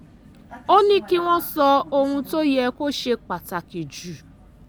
ó ní kí wọ́n sọ ohun tó yẹ kó ṣe pàtàkì jù